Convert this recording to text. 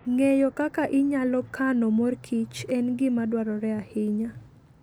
Ng'eyo kaka inyalo kano mor kich en gima dwarore ahinya.